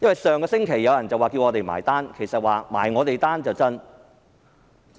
上星期有人叫我們"埋單"，其實他們是想"埋我們單"。